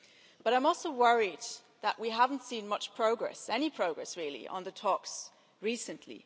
But I am also worried that we haven't seen much progress any progress, really on the talks recently.